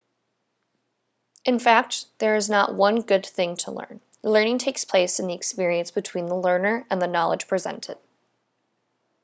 in fact there is not one good thing to learn.learning takes place in the experience between the learner and the knowledge presented